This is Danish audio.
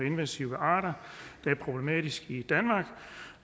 invasive arter der er problematiske i danmark